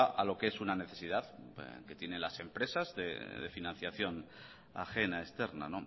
a lo que es una necesidad que tienen las empresas de financiación ajena externa